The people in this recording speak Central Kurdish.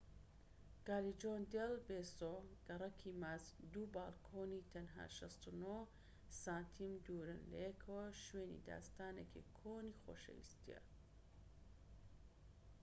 کالیجۆن دێل بێسۆ گەڕەکی ماچ. دوو بالکۆنی تەنها ٦٩ سانتیم دوورن لەیەکەوە و شوێنی داستانێکی کۆنی خۆشەویستیە